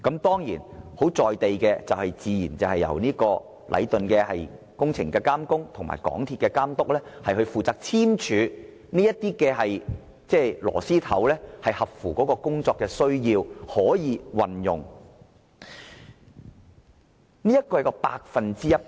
當然，最實在的做法，自然就是由禮頓建築有限公司監工和港鐵公司監督負責簽署，核實螺絲帽合乎工程需要及可以與鋼筋接駁。